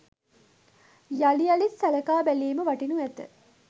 යළි යළිත් සලකා බැලීම වටිනු ඇත.